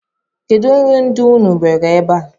Kedụ nri ndị unu nwere ebe a?